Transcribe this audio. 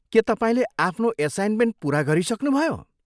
के तपाईँले आफ्नो एसाइन्मेन्ट पुरा गरिसक्नुभयो?